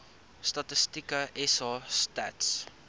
statistieke sa stats